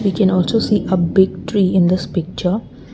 we can also see a big tree in this picture.